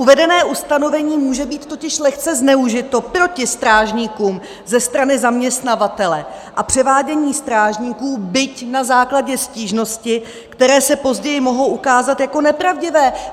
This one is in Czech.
Uvedené ustanovení může být totiž lehce zneužito proti strážníkům ze strany zaměstnavatele a převádění strážníků, byť na základě stížnosti, které se později mohou ukázat jako nepravdivé!